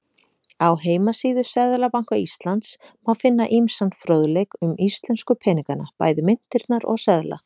Á heimasíðu Seðlabanka Íslands má finna ýmsan fróðleik um íslensku peningana, bæði myntirnar og seðla.